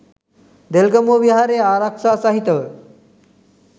දෙල්ගමුව විහාරයේ ආරක්‍ෂා සහිතව